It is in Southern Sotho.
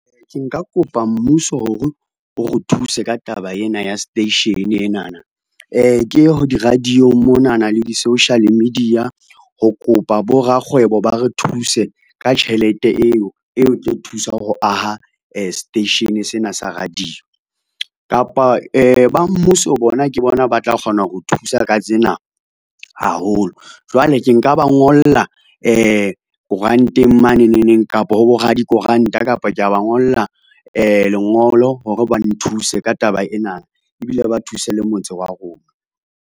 Ke nka kopa mmuso hore, o re thuse ka taba ena ya station enana, ke ye ho di-radio-ng monana le di-social media ho kopa borakgwebo ba re thuse ka tjhelete eo e tlo thusa ho aha seteishene sena sa radio. Kapa ba mmuso bona ke bona ba tla kgona ho re thusa ka tsena haholo, jwale ke nka ba ngola koranteng maneneng neng, kapa ho boradikoranta kapa kea ba ngolla lengolo hore ba nthuse ka taba ena ebile ba thuse le motse wa rona.